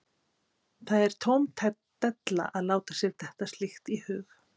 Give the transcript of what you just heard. Það er tóm della að láta sér detta slíkt í hug.